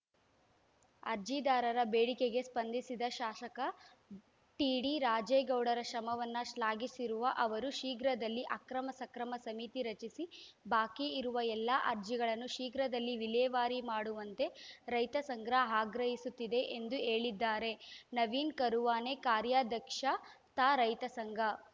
ಅರ್ಜಿದಾರರ ಬೇಡಿಕೆಗೆ ಸ್ಪಂದಿಸಿದ ಶಾಸಕ ಟಿಡಿರಾಜೇಗೌಡರ ಶ್ರಮವನ್ನು ಶ್ಲಾಘಿಸಿರುವ ಅವರು ಶೀಘ್ರದಲ್ಲಿ ಅಕ್ರಮ ಸಕ್ರಮ ಸಮಿತಿ ರಚಿಸಿ ಬಾಕಿ ಇರುವ ಎಲ್ಲಾ ಅರ್ಜಿಗಳನ್ನು ಶೀಘ್ರದಲ್ಲಿ ವಿಲೇವಾರಿ ಮಾಡುವಂತೆ ರೈತಸಂಘ ಆಗ್ರಹಿಸುತ್ತದೆ ಎಂದು ಹೇಳಿದ್ದಾರೆ ನವೀನ್‌ ಕರುವಾನೆ ಕಾರ್ಯಾಧ್ಯಕ್ಷ ತಾ ರೈತ ಸಂಘ